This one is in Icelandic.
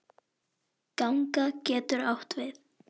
Ganga getur átt við